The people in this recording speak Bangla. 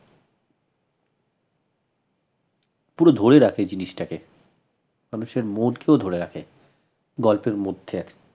পুরো ধরে রাখে জিনিসটাকে মানুষের mood কেও ধরে রাখে গল্পের মধ্যে